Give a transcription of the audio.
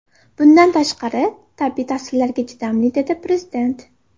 Bundan tashqari, tabiiy ta’sirlarga chidamli”, dedi Prezident.